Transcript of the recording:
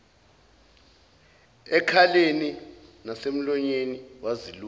ekhaleni nasemlonyeni waziluma